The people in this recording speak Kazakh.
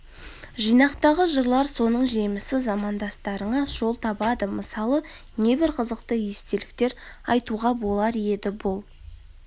жинақтағы жырлар соның жемісі замандастарыңа жол табады мысалы небір қызықты естеліктер айтуға болар еді бұл